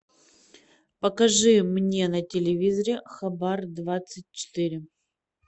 покажи мне на телевизоре хабар двадцать четыре